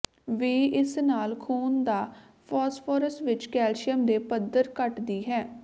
ਵੀ ਇਸ ਨਾਲ ਖੂਨ ਦਾ ਫਾਸਫੋਰਸ ਵਿੱਚ ਕੈਲਸ਼ੀਅਮ ਦੇ ਪੱਧਰ ਘਟਦੀ ਹੈ